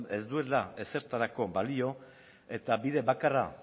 ez duela ezertarako balio eta bide bakarra